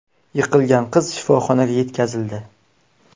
Yiqilgan qiz shifoxonaga yetkazildi.